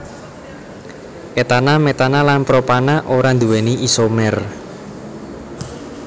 etana metana lan propana ora nduwéni isomer